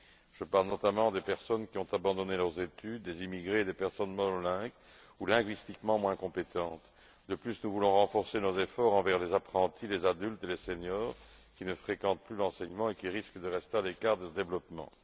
Je parle notamment des personnes qui ont abandonné leurs études, les immigrés et les personnes monolingues ou linguistiquement moins compétentes. De plus, nous voulons renforcer nos efforts à l'égard des apprentis, des adultes et des seniors qui ne fréquentent plus l'enseignement et qui risquent de rester à l'écart du développement.